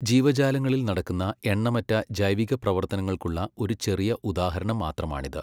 ജീവജാലങ്ങളിൽ നടക്കുന്ന എണ്ണമറ്റ ജൈവികപ്രവർത്തനങ്ങൾക്കുള്ള ഒരു ചെറിയ ഉദാഹരണം മാത്രമാണിത്.